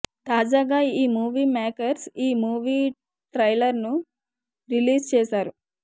తాజాగా ఈ movie makers ఈ మూవీ ట్రైలర్ను రిలీజ్ చేసారు